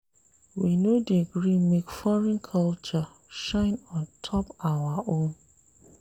We no dey gree make foreign culture shine on top our own.